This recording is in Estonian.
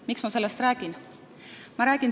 Miks ma sellest räägin?